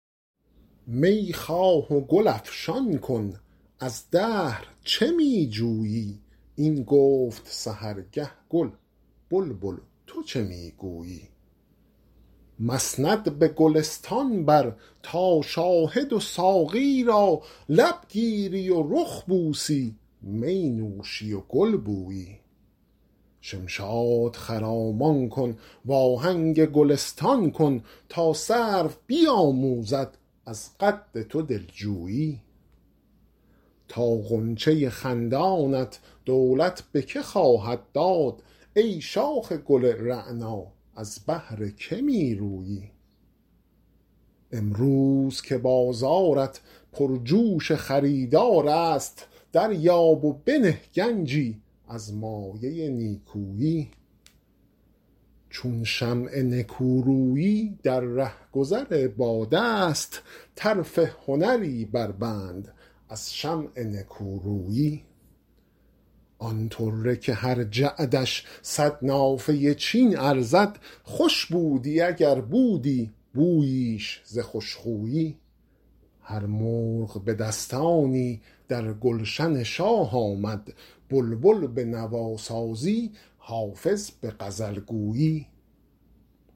می خواه و گل افشان کن از دهر چه می جویی این گفت سحرگه گل بلبل تو چه می گویی مسند به گلستان بر تا شاهد و ساقی را لب گیری و رخ بوسی می نوشی و گل بویی شمشاد خرامان کن وآهنگ گلستان کن تا سرو بیآموزد از قد تو دل جویی تا غنچه خندانت دولت به که خواهد داد ای شاخ گل رعنا از بهر که می رویی امروز که بازارت پرجوش خریدار است دریاب و بنه گنجی از مایه نیکویی چون شمع نکورویی در رهگذر باد است طرف هنری بربند از شمع نکورویی آن طره که هر جعدش صد نافه چین ارزد خوش بودی اگر بودی بوییش ز خوش خویی هر مرغ به دستانی در گلشن شاه آمد بلبل به نواسازی حافظ به غزل گویی